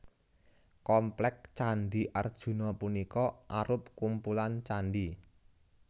Komplék Candhi Arjuna punika arup kumpulan candhi